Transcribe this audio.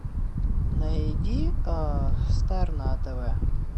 найди стар на тв